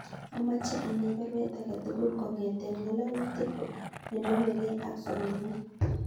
Amoche anai baruet age tugul kongeten ngalalutik nenomegei ak somanet